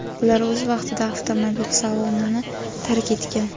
Ular o‘z vaqtida avtomobil salonini tark etgan.